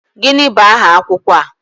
Gịnị bụ aha akwụkwọ a?